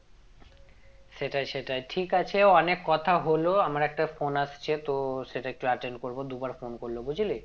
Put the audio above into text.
সেটাই সেটাই ঠিক আছে অনেক কথা হলো আমার একটা phone আসছে তো সেটা একটু attend করবো দু বার phone করলো বুঝলি